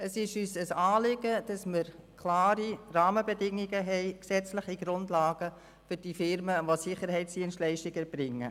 Es ist uns ein Anliegen, dass wir klare Rahmenbedingungen und gesetzliche Grundlagen für die Unternehmen haben, die Sicherheitsdienstleistungen erbringen.